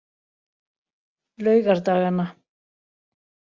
laugardaganna